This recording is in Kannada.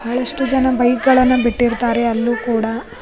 ಬಹಳಷ್ಟು ಜನ ಬೈಕ್ ಗಳನ್ನ ಬಿಟ್ಟಿರ್ತಾರೆ ಅಲ್ಲು ಕೂಡ.